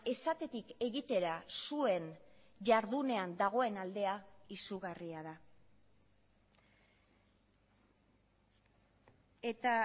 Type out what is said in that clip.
esatetik egitera zuen jardunean dagoen aldea izugarria da eta